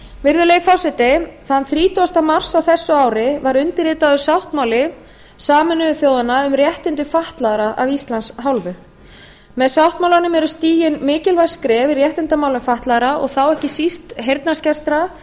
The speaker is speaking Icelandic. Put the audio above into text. virðulegi forseti þann þrítugasta mars á þessu ári var undirritaður sáttmáli sameinuðu þjóðanna um réttindi fatlaðra af íslands hálfu með sáttmálanum eru stigin mikilvæg skref í réttindamálum fatlaðra og þá ekki síst heyrnarskertra